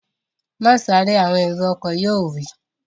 Má sáré! Àwọn èrò ọkọ̀ yóò wí